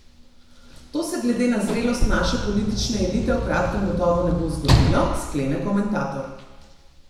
To se glede na zrelost naše politične elite v kratkem gotovo ne bo zgodilo, sklene komentator.